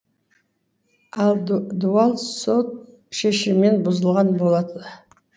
ал дуал сот шешімен бұзылған болады